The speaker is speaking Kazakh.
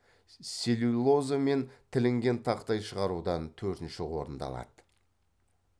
целлюлоза мен тілінген тақтай шығарудан төртінші орынды алады